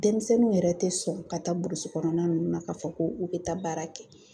Denmisɛnninw yɛrɛ tɛ sɔn ka taa burusi kɔnɔna ninnu na k'a fɔ ko u bɛ taa baara kɛ.